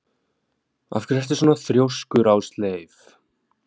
Af hverju ertu svona þrjóskur, Ásleif?